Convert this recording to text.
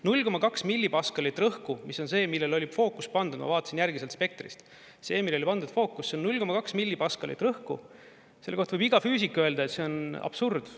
0,2 millipaskalit rõhku, mis on see, millele oli fookus pandud, ma vaatasin järgi sealt spektrist, see, millele oli pandud fookus, see on 0,2 millipaskalit rõhku, selle kohta võib iga füüsik öelda, et see on absurd.